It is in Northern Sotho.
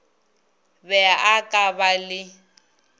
be a ka ba le